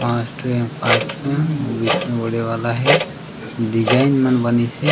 पाँच ठो यहाँ पार्ट हे आऊ बीच म बड़े वाला हे डिज़ाइन मन बनीस हे।